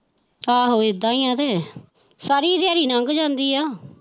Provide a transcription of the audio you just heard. ਆਹੋ ਇੱਥਾਂ ਹੀ ਹੈ ਕਿ ਸਾਰੀ ਦਿਹਾੜੀ ਲੰਘ ਜਾਂਦੀ ਹੈ।